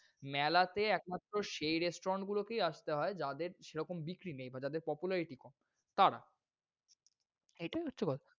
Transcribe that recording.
মেলাতে একমাত্র সেই restaurant গুলকেই আসতে হয় যাদের সেরকম বিক্রি নেই বা যাদের popularity কম তারা। এইটায় হচ্ছে কথা।